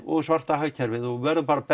og svarta hagkerfið og við verðum bara að